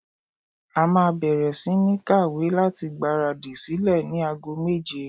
A máa bẹ̀rẹ̀ sí ní ń kàwé láti gbára dì sílẹ̀ ní ago méje.